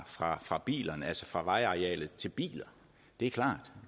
fra fra bilerne altså fra vejarealet til biler det er klart